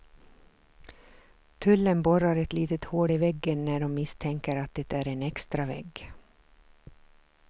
Tullen borrar ett litet hål i väggen, när de misstänker att det är en extravägg.